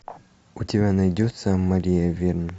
у тебя найдется мария верн